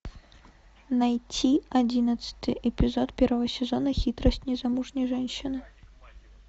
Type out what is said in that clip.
найти одиннадцатый эпизод первого сезона хитрость незамужней женщины